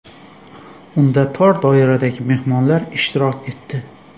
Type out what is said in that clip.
Unda tor doiradagi mehmonlar ishtirok etdi.